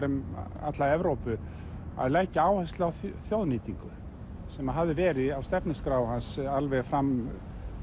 um alla Evrópu að leggja áherslu á þjóðnýtingu sem hafði verið á stefnuskrá hans alveg fram